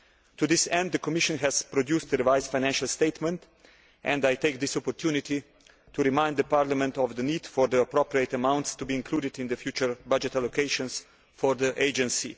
To this end, the Commission has produced a revised financial statement, and I would like to take this opportunity to remind Parliament of the need for the appropriate amounts to be included in the future budget allocations for the agency.